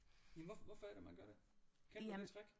Jamen hvorfor hvorfor er det man gør det kender du det trick